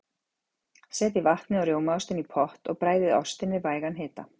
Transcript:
Setjið vatnið og rjómaostinn í pott og bræðið ostinn við vægan hita.